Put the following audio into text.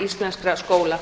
íslenskra skóla